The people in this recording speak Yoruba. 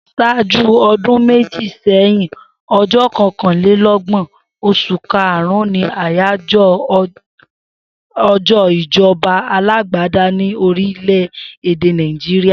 S̩áájú o̩dún méjì sé̩yìn, o̩j́ó̩ ko̩kàndínló̩gbò̩n, os̩ù karùn-ún ni àyájó̩ o̩jó̩ ìjo̩ba alágbádá ní orílè̩ èdè Naijiria